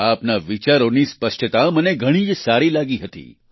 આપના વિચારોની સ્પષ્ટતા મને ઘણી જ સારી લાગી હતી